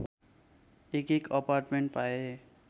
एकएक अपार्टमेन्ट पाए